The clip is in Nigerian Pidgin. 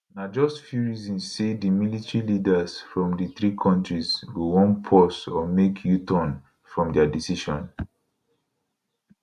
na just few reason say di military leaders from di three kontris go wan pause or make uturn from dia decision